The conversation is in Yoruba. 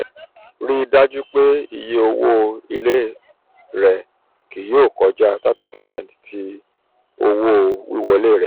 rii daju pe iye owo ile rẹ kii yoo kọja thirty percent ti owo-wiwọle rẹ.